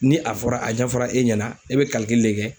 Ni a fɔra, a ɲɛfɔra e ɲɛna e bɛ de kɛ.